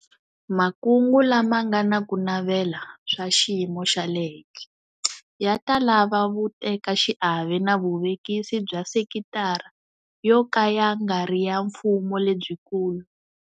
Makungu lama nga na ku navela swa xiyimo xa le henhla ya ta lava vutekaxiave na vuvekisi bya sekitara yo ka ya nga ri ya mfumo lebyikulu.